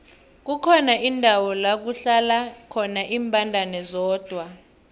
kukhona indawo lakuhlala khona imbandana zodwa